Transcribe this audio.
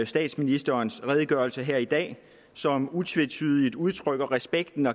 statsministerens redegørelse her i dag som utvetydigt udtrykker respekten